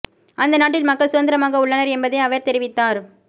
அந்த நாட்டில் மக்கள் சுதந்திரமாக உள்ளனர் என்பதை அவர் தெரி வித்தார்